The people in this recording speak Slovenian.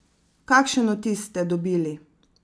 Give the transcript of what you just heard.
Kakšen vtis ste dobili?